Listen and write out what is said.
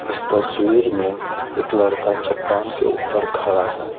इस तस्वीर में एक लड़का चट्टान के ऊपर खड़ा है।